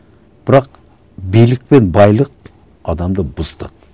бірақ билік пен байлық адамды